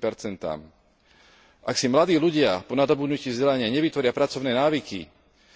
50 Ak si mladí ľudia po dosiahnutí vzdelania nevytvoria pracovné návyky,